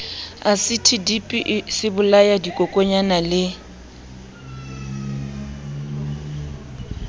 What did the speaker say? asiti dipi sebolaya dikokonyana le